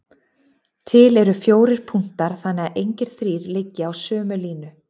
Til eru fjórir punktar þannig að engir þrír liggi á sömu línu.